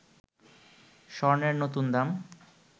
স্বর্ণের নতুন দাম